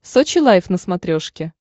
сочи лайв на смотрешке